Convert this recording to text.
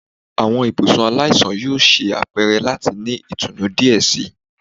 Awọn ibusun alaisan yoo ṣe apẹrẹ lati ni itunu diẹ sii